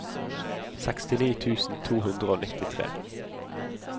sekstini tusen to hundre og nittitre